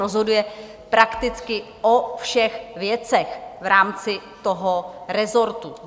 Rozhoduje prakticky o všech věcech v rámci toho rezortu.